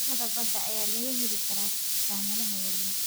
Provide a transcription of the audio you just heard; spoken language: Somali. Cuntada badda ayaa laga heli karaa dukaamada waaweyn.